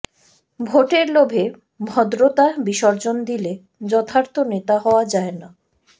ভোটের লোভে ভদ্রতা বিসর্জন দিলে যথার্থ নেতা হওয়া যায় না